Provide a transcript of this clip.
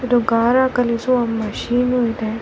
ಅಕ್ಕ ಪಕ್ಕ ಎಲ್ಲ ವಿದ್ಯುತ್ ಕಂಬಗಳು ಕಾಣಿಸುತ್ತಿದೆ .